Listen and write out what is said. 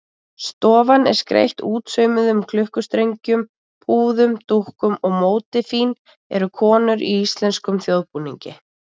Stofan er skreytt útsaumuðum klukkustrengjum, púðum og dúkum og mótífin eru konur í íslenskum þjóðbúningi.